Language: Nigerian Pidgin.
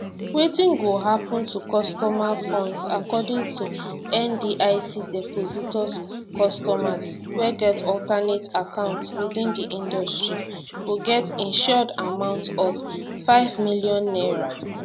wetin go happun to customer funds according to ndic depositors customers wey get alternate account within di industry go get insured amount of n5 million